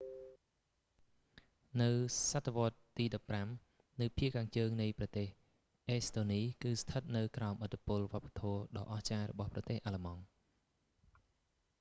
នៅសតវត្សរ៍ទី15 នៅភាគខាងជើងនៃប្រទេសអេស្តូនី គឺស្ថិតនៅក្រោមឥទ្ធិពលវប្បធម៌ដ៏អស្ចារ្យរបស់ប្រទេសអាល្លឺម៉ង់